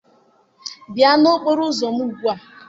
Bịa n'okporo ụzọ m ugbu a!